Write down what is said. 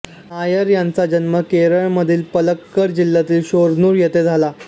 नायर यांचा जन्म केरळमधील पलक्कड जिल्ह्यातील शोरनूर येथे झाला